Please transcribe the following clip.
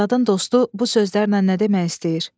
Azadın dostu bu sözlərlə nə demək istəyir?